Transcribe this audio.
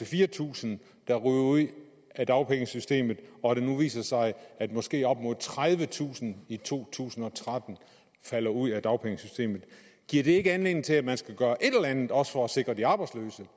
fire tusind der ryger ud af dagpengesystemet og at det nu viser sig at måske op mod tredivetusind i to tusind og tretten falder ud af dagpengesystemet giver det ikke anledning til at man skal gøre et eller andet også for at sikre de arbejdsløse